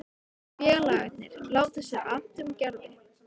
Félagarnir láta sér annt um Gerði.